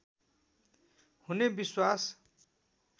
हुने विश्वास